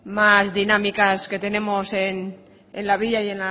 más dinámicas que tenemos en la villa y